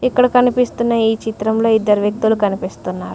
ఇక్కడ కనిపిస్తున్న ఈ చిత్రంలో ఇద్దరు వ్యక్తులు కనిపిస్తున్నారు.